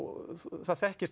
þekkist